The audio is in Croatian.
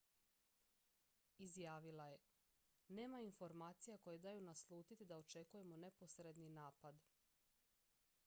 "izjavila je: "nema informacija koje daju naslutiti da očekujemo neposredni napad.